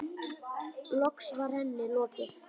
Loks var henni lokið.